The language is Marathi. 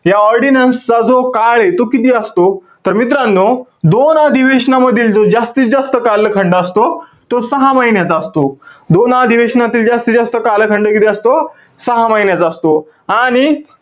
या ordinance चा जो काळे, तो किती असतो? तर मित्रांनो, दोन अधिवेशनामधील जो जास्तीत जास्त कालखंड असतो. तो सहा महिन्याचा असतो. दोन अधिवेशनामधील जास्तीत जास्त कालखंड किती असतो? सहा महिन्याचा असतो. आणि,